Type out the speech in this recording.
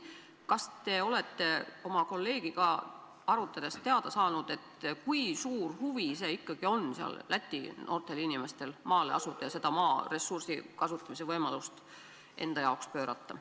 Kas te olete oma kolleegiga arutades teada saanud, kui suur ikkagi on Läti noorte inimeste huvi maale asudes kasutada seda maa saamise võimalust?